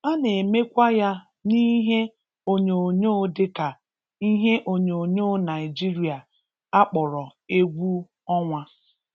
A na-emekwa ya n'ihe onyonyoo dịka ihe onyonyoo Naijiria a kpọrọ 'egwu ọnwa'.